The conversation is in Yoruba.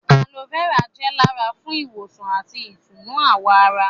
Aloe vera jẹ́ dára fún ìwòsàn àti ìtùnú àwọ̀ ará